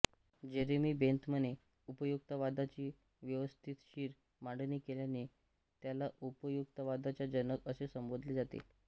Jeremy बेंथमने उपयुक्ततावादाची व्यवस्थीशीर मांडणी केल्याने त्याला उपयुक्ततावादाचा जनक असे संबोधले जाते